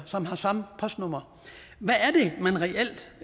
som har samme postnummer hvad er